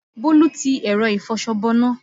Bólú ti ẹ̀rọ ìfọṣọ bọná